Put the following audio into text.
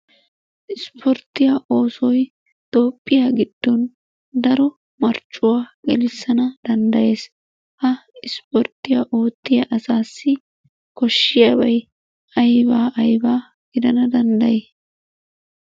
Ispporttiyaa oosoy Toophphiyaa giddon daro marccuwa gelissana danddayees. Ha ispporttiyaa oottiya asaassi koshshiyaabay ayba ayba gidana danddayi?